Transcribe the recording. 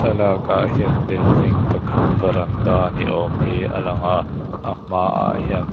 thlalak ah hian building pakhat veranda ni awm hi a langa a hmaah hian--